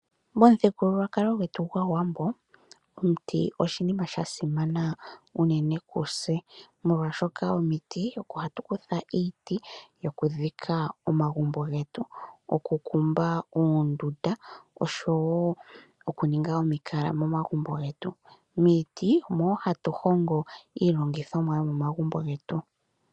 Momuthigululwakalo gwetu gwaawambo omuti oshinima shasimana uunene kutse molwaashoka komiti oko hatu kutha iiti yokudhika omagumbo getu, okukumba uundunda nosho woo okuninga omikala momagumbo getu. Miiti omo hatu hongo iilongithomwa yomomagumbo getu.